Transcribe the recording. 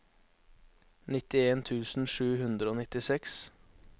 nittien tusen sju hundre og nittiseks